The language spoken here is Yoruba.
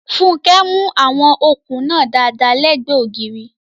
Funke mú àwọn okùn náà dáadáa lẹ́gbẹ̀ẹ́ ògiri.